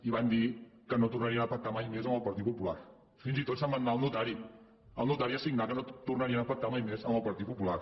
i van dir que no tornarien a pactar mai més amb el partit popular fins i tot se’n van anar al notari al notari a signar que no tornarien a pactar mai més amb el partit popular